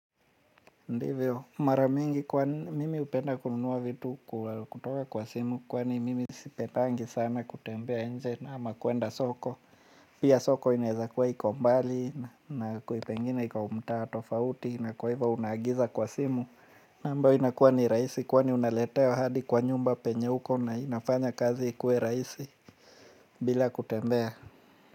Ndivyo, mara mingi kwani mimi hupenda kununua vitu kutoka kwa simu kwani mimi sipendangi sana kutembea nje ama kuenda soko. Pia soko inaweza kuwa hiko mbali na kui pengine iko mtaa tofauti na kuwa hivyo unaagiza kwa simu. Na ambayo inakuwa ni raisi kwani unaletewa hadi kwa nyumba penye uko na inafanya kazi kuwe raisi bila kutembea.